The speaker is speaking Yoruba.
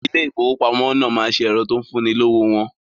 Ilé ìfowópamọ́ náà ma ṣe ẹ̀rọ tó ń fún ni lówó wọn